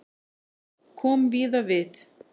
Kom víða við